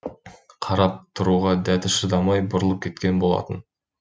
қарап тұруға дәті шыдамай бұрылып кеткен болатын